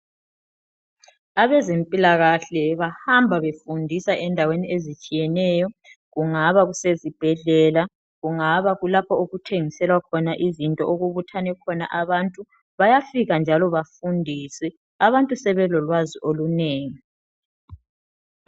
Abezempilakahle bahamba befundisa endaweni ezitshiyeneyo, kungaba kusezibhedlela kungaba kulapho okuthengiselwa khon izinto okubuthane khona abantu. Bayafika njalo bafundise abantu sebelolwazi olunengi.